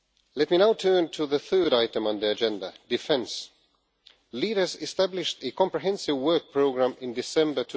Let me now turn to the third item on the agenda, defence. Leaders established a comprehensive work programme in December